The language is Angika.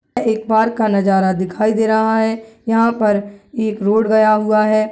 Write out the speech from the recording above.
एक पार्क का नज़ारा दिखाई दे रहा है यहाँ पर एक रोड गया हुआ है।